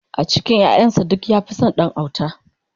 a cikin ƴaƴan sa duk ya Fi San Ɗan autan